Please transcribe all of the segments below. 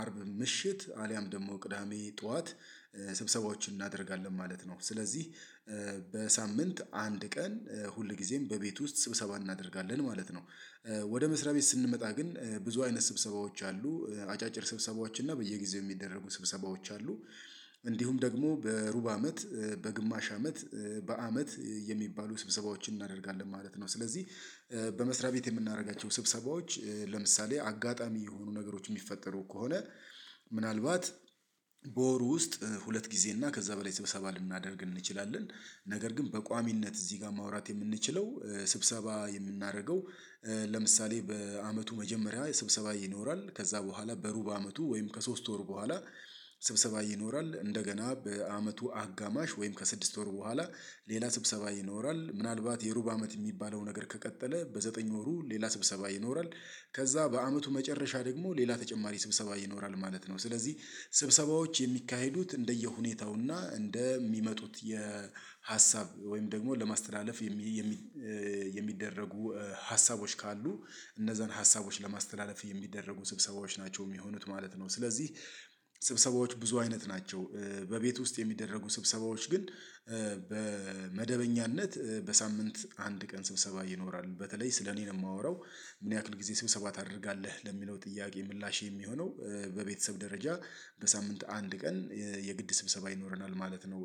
አርብ ምሽት አልያም ደግሞ ቅዳሜ ጠዋት ስብሰባዎችን እናደርጋለን ማለት ነው። ስለዚህ በሳምንት አንድ ቀን ሁልጊዜም በቤት ውስጥ ስብሰባ እናደርጋለን ማለት ነው። ወደ መስሪያ ቤት ስንመጣ ግን ብዙ አይነት ስብሰባዎች አሉ። አጫጭር ስብሰባዎች እና በየጊዜው የሚደረጉ ስብሰባዎች አሉ። እንዲሁም ደግሞ በሩብ አመት በግማሽ አመት በአመት የሚባሉ ስብሰባዎችን እናደርጋለን ማለት ነው። ስለዚህ በመስሪያ ቤት የምናደርጋቸው ስብሰባዎች ለምሳሌ አጋጣሚ የሆኑ ነገሮች የሚፈጠሩ ከሆነ ምናልባት በወሩ ውስጥ ሁለት ጊዜ እና ከዚያ በላይ ስብሰባ ልናደርግ እንችላለን። ነገር ግን በቋሚነት እዚህ ጋር ማውራት የምንችለው ስብሰባ የምናደርገው። ለምሳሌ በአመቱ መጀመሪያ ስብሰባ ይኖራል ከዛ በኋላ በሩብ አመቱ ወይም ከሶስት ወር በኋላ። ስብሰባ ይኖራል እንደገና በአመቱ አጋማሽ ወይም ከስድስት ወር በኋላ ሌላ ስብሰባ ይኖራል ምናልባት የሩብ አመት የሚባለው ነገር ከቀጠለ በዘጠኝ ወሩ ሌላ ስብሰባ ይኖራል። ከዛ በአመቱ መጨረሻ ደግሞ ሌላ ተጨማሪ ስብሰባ ይኖራል ማለት ነው። ስለዚህ ስብሰባዎች የሚካሄዱት እንደየሁኔታውና እንደሚመጡት የሀሳብ ወይም ደግሞ ለማስተላለፍ የሚደረጉ ሀሳቦች ካሉ። እነዛን ሀሳቦች ለማስተላለፍ የሚደረጉ ስብሰባዎች ናቸው የሚሆኑት ማለት ነው። ስለዚህ ስብሰባዎች ብዙ አይነት ናቸው። በቤት ውስጥ የሚደረጉ ስብሰባዎች ግን በመደበኛነት በሳምንት አንድ ቀን ስብሰባ ይኖራል በተለይ ስለ እኔ ነው የማወራው። ምን ያክል ጊዜ ስብሰባ ታደርጋለህ ለሚለው ጥያቄ ምላሽ የሚሆነው። በቤተሰብ ደረጃ በሳምንት አንድ ቀን የግድ ስብሰባ ይኖረናል ማለት ነው።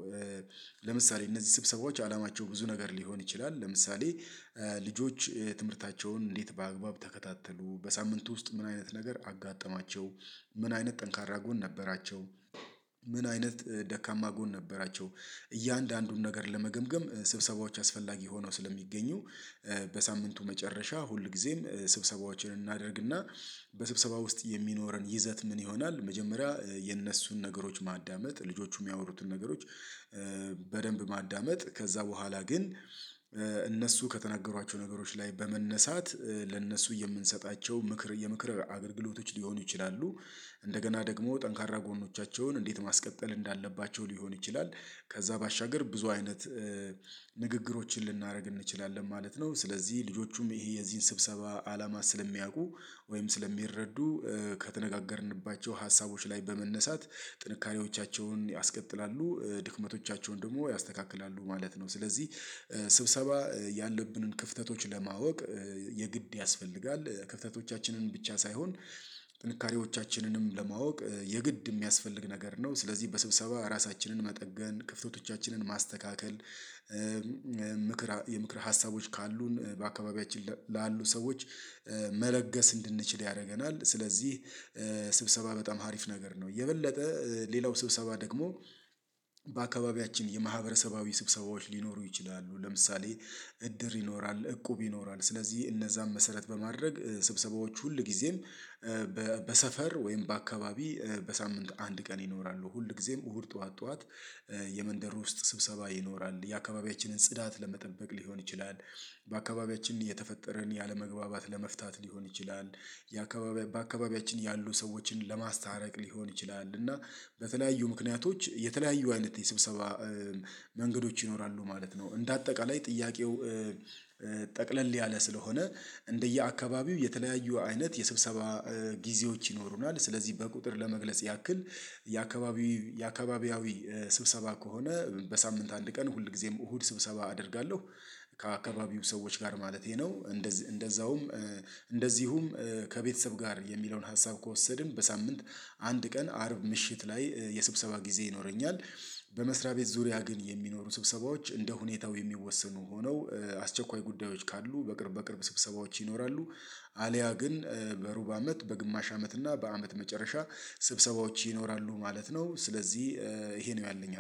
ለምሳሌ እነዚህ ስብሰባዎች አላማቸው ብዙ ነገር ሊሆን ይችላል። ለምሳሌ ልጆች ትምህርታቸውን እንዴት በአግባብ ተከታተሉ በሳምንቱ ውስጥ ምን አይነት ነገር አጋጠማቸው። ምን አይነት ጠንካራ ጎን ነበራቸው። ምን አይነት ደካማ ጎን ነበራቸው። እያንዳንዱን ነገር ለመገምገም ስብሰባዎች አስፈላጊ ሆነው ስለሚገኙ። በሳምንቱ መጨረሻ ሁልጊዜም ስብሰባዎችን እናደርግና በስብሰባው ውስጥ የሚኖረን ይዘት ምን ይሆናል? መጀመሪያ የነሱን ነገሮች ማዳመጥ ልጆቹ የሚያወሩትን ነገሮች። በደንብ ማዳመጥ ከዛ በኋላ ግን እነሱ ከተናገሯቸው ነገሮች ላይ በመነሳት ለእነሱ የምንሰጣቸው ምክር የምክር አገልግሎቶች ሊሆኑ ይችላሉ። እንደገና ደግሞ ጠንካራ ጎኖቻቸውን እንዴት ማስቀጠል እንዳለባቸው ሊሆን ይችላል። ከዛ ባሻገር ብዙ አይነት ንግግሮችን ልናደርግ እንችላለን ማለት ነው። ስለዚህ ልጆቹም ይሄ የዚህን ስብሰባ አላማ ስለሚያውቁ ወይም ስለሚረዱ ከተነጋገርንባቸው ሀሳቦች ላይ በመነሳት ጥንካሬዎቻቸውን ያስቀጥላሉ። ድክመቶቻቸውን ደግሞ ያስተካክላሉ ማለት ነው። ስለዚህ ያለብንን ክፍተቶች ለማወቅ የግድ ያስፈልጋል። ክፍተቶቻችንን ብቻ ሳይሆን ጥንካሬዎቻችንንም ለማወቅ የግድ የሚያስፈልግ ነገር ነው። ስለዚህ በስብሰባ ራሳችንን መጠገን ክፍተቶቻችንን ማስተካከል ምክር የምክር ሀሳቦች ካሉን በአካባቢያችን ላሉ ሰዎች መለገስ እንድንችል ያደርገናል። ስለዚህ ስብሰባ በጣም አሪፍ ነገር ነው። የበለጠ ሌላው ስብሰባ ደግሞ በአካባቢያችን የማህበረሰባዊ ስብሰባዎች ሊኖሩ ይችላሉ። ለምሳሌ እድር ይኖራል እቁብ ይኖራል ስለዚህ እነዛን መሰረት በማድረግ ስብሰባዎቹ ሁል ጊዜም በሰፈር ወይም በአካባቢ። በሳምንት አንድ ቀን ይኖራሉ ሁል ጊዜም እሁድ ጠዋት ጠዋት። የመንደር ውስጥ ስብሰባ ይኖራል የአካባቢያችንን ጽዳት ለመጠበቅ ሊሆን ይችላል። በአካባቢያችን የተፈጠረን ያለመግባባት ለመፍታት ሊሆን ይችላል። ያ በአካባቢያችን ያሉ ሰዎችን ለማስታረቅ ሊሆን ይችላል እና በተለያዩ ምክንያቶች የተለያዩ አይነት የስብሰባ መንገዶች ይኖራሉ ማለት ነው። እንደ አጠቃላይ ጥያቄው ጠቅለል ያለ ስለሆነ እንደየአካባቢው የተለያዩ አይነት የስብሰባ ጊዜዎች ይኖሩናል። ስለዚህ በቁጥር ለመግለጽ ያክል የአካባቢው የአካባቢያዊ ስብሰባ ከሆነ በሳምንት አንድ ቀን ሁል ጊዜም እሁድ ስብሰባ አደርጋለሁ። ከአካባቢው ሰዎች ጋር ማለቴ ነው። እንደዚህ እንደዛውም እንደዚሁም ከቤተሰብ ጋር የሚለውን ሀሳብ ከወሰድን በሳምንት አንድ ቀን አርብ ምሽት ላይ የሰብሰባ ጊዜ ይኖረኛል። በመስሪያ ቤት ዙሪያ ግን የሚኖሩ ስብሰባዎች እንደ ሁኔታው የሚወሰኑ ሆነው አስቸኳይ ጉዳዮች ካሉ በቅርብ በቅርብ ስብሰባዎች ይኖራሉ። አልያ ግን በሩብ አመት በግማሽ አመት እና በአመት መጨረሻ ስብሰባዎች ይኖራሉ ማለት ነው። ስለዚህ ይሄ ነው ያለኝ